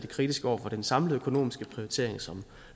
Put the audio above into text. kritiske over for den samlede økonomiske prioritering som